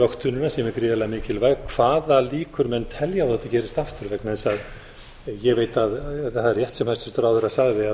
vöktunina sem er gríðarlega mikilvæg hvaða líkur menn telja á að þetta gerist aftur vegna þess að ég veit að það er rétt sem hæstvirtur ráðherra sagði að